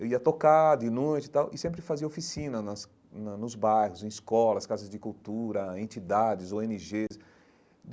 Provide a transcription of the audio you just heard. Eu ia tocar de noite e tal e sempre fazia oficina nas na nos bairros, em escolas, casas de cultura, entidades, ó ene gês.